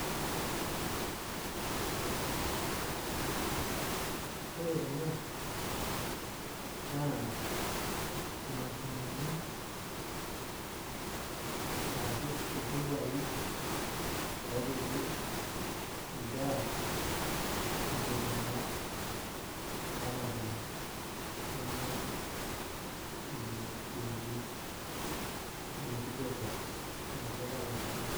Ore kuna naa imashinini arashu iltupaai ooopiki nkera nitu ebaya ilarin ilapaitin lenye itu eiuni incubators tenkutuk oolashumba.